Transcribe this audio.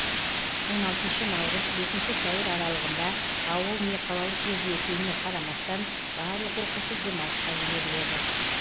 он алтыншы наурыз бесінші сәуір аралығында ауыл не қалалық жерде екеніне қарамастан барлық оқушы демалысқа жіберіледі